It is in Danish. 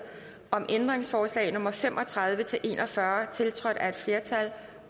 om ændringsforslag nummer fem og tredive til en og fyrre tiltrådt af et flertal